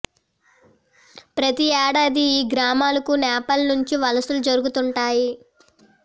ప్రతి ఏడాది ఈ గ్రామాలకు నేపాల్ నుంచి వలసలు జరుగుతుం టాయి